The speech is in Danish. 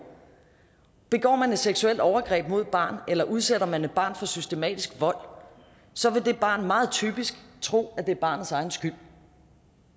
begår man et seksuelt overgreb mod et barn eller udsætter man et barn for systematisk vold så vil det barn meget typisk tro at det er barnets egen skyld